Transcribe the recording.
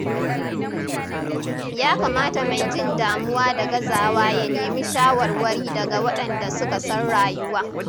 Ya kamata mai jin damuwa da gazawa ya nemi shawarwari daga waɗanda suka san rayuwa.